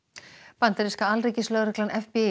bandaríska alríkislögreglan